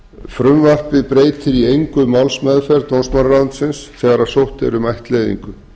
frumvarpið breytir í engu málsmeðferð dómsmálaráðuneytisins þegar sótt er um ættleiðingu